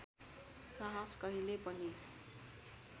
साहस कहिल्यै पनि